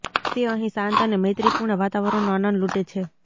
તે અહીં શાંત અને મૈત્રીપૂર્ણ વાતાવરણનો આનંદ લૂટે છે